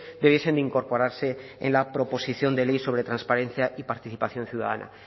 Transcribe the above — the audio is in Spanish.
debiesen de incorporarse en la proposición de ley sobre transparencia y participación ciudadana